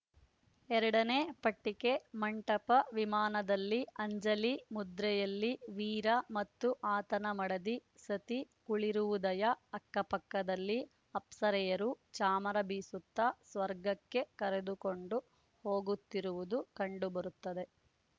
ಎರಡನೇ ಪಟ್ಟಿಕೆ ಮಂಟಪವಿಮಾನದಲ್ಲಿ ಅಂಜಲಿ ಮುದ್ರೆಯಲ್ಲಿ ವೀರ ಮತ್ತು ಆತನ ಮಡದಿ ಸತಿಕುಳಿರುವುದಯ ಅಕ್ಕಪಕ್ಕದಲ್ಲಿ ಅಪ್ಸರೆಯರು ಚಾಮರ ಬೀಸುತ್ತಾ ಸ್ವರ್ಗಕ್ಕೆ ಕರೆದುಕೊಂಡು ಹೋಗುತ್ತಿರುವುದು ಕಂಡುಬರುತ್ತದೆ